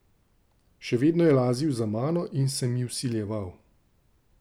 Še vedno je lazil za mano in se mi vsiljeval.